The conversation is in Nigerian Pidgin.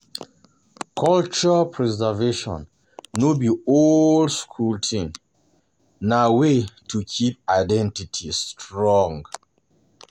Culture preservation no be old-school thing, na way to keep identity strong.